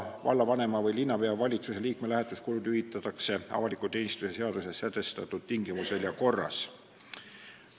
Vallavanema või linnapea ja valitsuse liikme lähetuskulud hüvitatakse avaliku teenistuse seaduses sätestatud tingimustel ja korras.